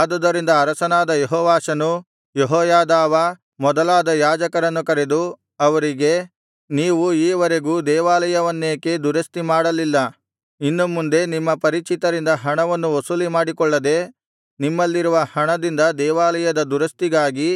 ಆದುದರಿಂದ ಅರಸನಾದ ಯೆಹೋವಾಷನು ಯೆಹೋಯಾದಾವ ಮೊದಲಾದ ಯಾಜಕರನ್ನು ಕರೆದು ಅವರಿಗೆ ನೀವು ಈ ವರೆಗೂ ದೇವಾಲಯವನ್ನೇಕೆ ದುರಸ್ತಿ ಮಾಡಲಿಲ್ಲ ಇನ್ನು ಮುಂದೆ ನಿಮ್ಮ ಪರಿಚಿತರಿಂದ ಹಣವನ್ನು ವಸೂಲಿಮಾಡಿಕೊಳ್ಳದೆ ನಿಮ್ಮಲಿರುವ ಹಣದಿಂದ ದೇವಾಲಯದ ದುರಸ್ತಿಗಾಗಿ